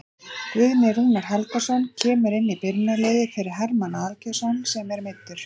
Guðni Rúnar Helgason kemur inn í byrjunarliðið fyrir Hermann Aðalgeirsson sem er meiddur.